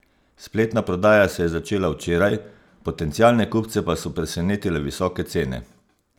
Spletna prodaja se je začela včeraj, potencialne kupce pa so presenetile visoke cene.